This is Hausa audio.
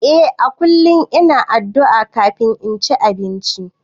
Eh a kullum ina addu'a kafin cin abinci.